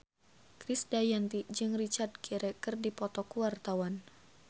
Krisdayanti jeung Richard Gere keur dipoto ku wartawan